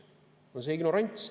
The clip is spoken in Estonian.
See on see ignorants.